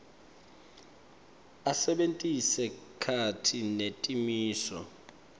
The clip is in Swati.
asebentise takhi netimiso